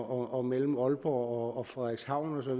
og mellem aalborg og frederikshavn osv